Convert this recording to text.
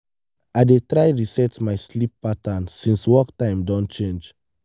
i dey try reset my sleep pattern since work time don change.